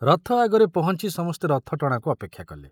ରଥ ଆଗରେ ପହଞ୍ଚି ସମସ୍ତେ ରଥ ଟଣାକୁ ଅପେକ୍ଷା କଲେ।